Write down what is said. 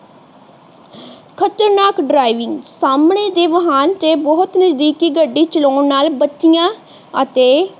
ਖ਼ਤਰਨਾਕ ਦਰਾਵਿੰਗ ਸਾਹਮਣੇ ਦੇ ਵਾਹਨ ਦੇ ਬਹੁਤ ਨਜਦੀਕੀ ਗੱਡੀ ਚਲਾਣ ਨਾਲ ਬਤੀਯਾ ਅਤੇ